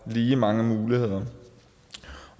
lige mange muligheder